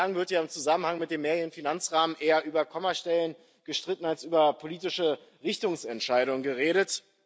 Bislang wird ja im Zusammenhang mit dem mehrjährigen Finanzrahmen eher über Kommastellen gestritten als über politische Richtungsentscheidungen geredet.